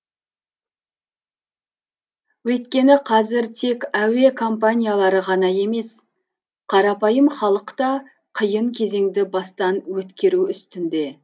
өйткені қазір тек әуе компаниялары ғана емес қарапайым халық та қиын кезеңді бастан өткеру үстінде